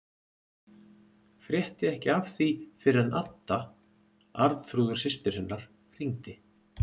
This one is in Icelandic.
Frétti ekki af því fyrr en Adda, Arnþrúður systir hennar, hringdi.